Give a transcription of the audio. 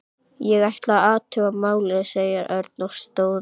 Ég ætla að athuga málið, sagði Örn og stóð upp.